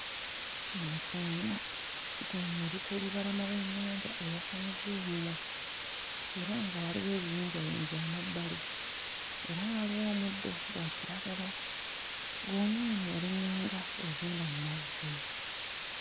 Eno ggoonya, ggoonya eri ku lubalama lw'ennyanja eyasamizza omumwa era nga waliwo ebiyinjayinja amabbali era nga waliwo omuddo gwa kiragala. Ggoonya eno eringa nga egenda mu mazzi.